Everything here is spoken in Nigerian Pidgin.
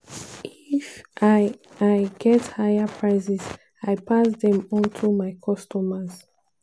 "if i i get higher prices i pass dem on to my customers.